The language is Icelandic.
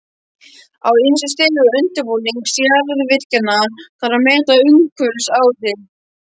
Á ýmsum stigum undirbúnings jarðgufuvirkjana þarf að meta umhverfisáhrif.